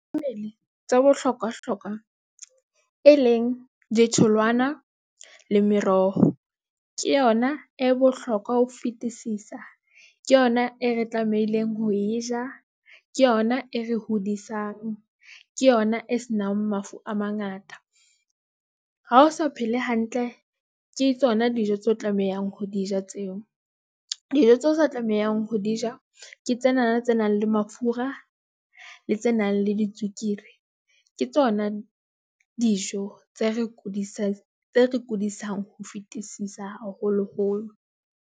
Mme tsa bohlokwa hlokwa, e leng ditholwana le meroho, ke yona e bohlokwa ho fetisisa. Ke yona e re tlamehileng ho e ja. Ke yona e re hodisang ke yona e senang mafu a mangata. Ha o sa phele hantle, ke tsona dijo tseo tlamehang ho di ja, tseo dijo tseo sa tlamehang ho di di ja. Ke tsenana tse nang le mafura le tse nang le di tswekere, ke tsona dijo tse re kudisa kudisang ho fetisisa, haholoholo.